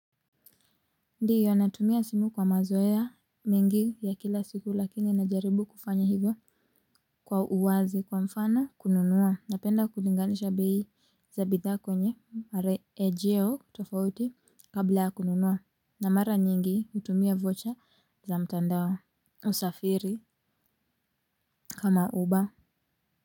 Ndiyo natumia simu kwa mazoea mengi ya kila siku lakini najaribu kufanya hivyo kwa uwazi kwa mfano kununua napenda kulinganisha bei za bidhaa kwenye marejeo tofauti kabla ya kununua na mara nyingi hutumia vocha za mtandao usafiri kama uber.